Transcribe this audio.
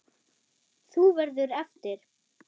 Þú verður eftir.